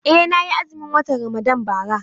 Eh, na yi azumin watan Ramadan bara.